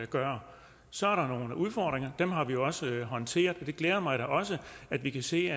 gøre så er der nogle udfordringer og dem har vi også håndteret og det glæder mig da også at vi kan se at